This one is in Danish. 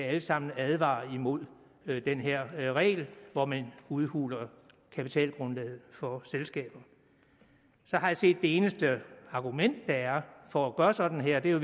alle sammen advarer imod den her regel hvor man udhuler kapitalgrundlaget for selskaber så har jeg set det eneste argument der er for at gøre sådan her og det er